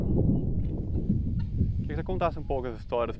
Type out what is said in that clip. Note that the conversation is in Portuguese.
Eu queria que você contasse um pouco as histórias.